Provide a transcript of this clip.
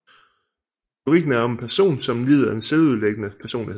Lyrikken er om en person som lider af en selvødelæggende personlighed